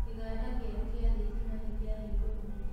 Kĩganda kĩerũ gĩa thitima nĩkĩahingũrũo.